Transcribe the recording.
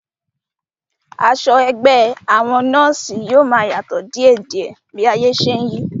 Aṣọ ẹgbẹ́ àwọn nọ́ọ̀sí yóò máa yàtọ̀ díèdíẹ̀ bí ayé ṣe n yí